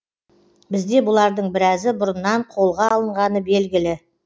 бізде бұлардың біразы бұрыннан қолға алынғаны белгілі